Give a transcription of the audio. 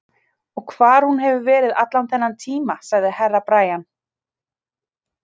Og hvar hún hefur verið allan þennan tíma, sagði Herra Brian.